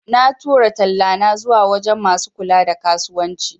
Na tura tallana zuwa wajan masu kula da kasuwanci